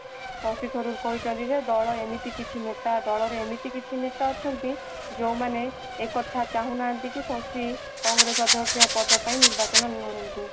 ଶକ୍ତିସ୍ୱରୂପ କହିଛନ୍ତି ଯେ ଦଳ ଏମିତି କିଛି ଦଳରେ ଏମିତି କିଛି ନେତା ଅଛନ୍ତି ଯେଉଁମାନେ ଏକଥା ଚାହୁଁ ନାହାନ୍ତି କି ଶକ୍ତି କଂଗ୍ରେସ ଅଦକ୍ଷ ପଦ ପାଇଁ ନିର୍ବାଚନ ଲଢନ୍ତୁ